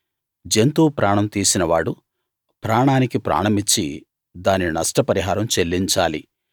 జంతువు ప్రాణం తీసినవాడు ప్రాణానికి ప్రాణమిచ్చి దాని నష్టపరిహారం చెల్లించాలి